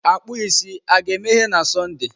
Akpụ isi a ga-emeghe na Sọnde?